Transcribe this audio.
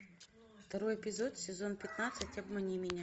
второй эпизод сезон пятнадцать обмани меня